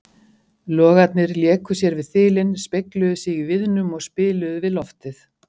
Logarnir léku sér við þilin, spegluðu sig í viðnum og spiluðu við loftið.